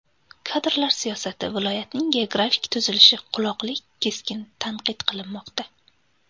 Kadrlar siyosati, viloyatning geografik tuzilishi, qoloqlik keskin tanqid qilinmoqda.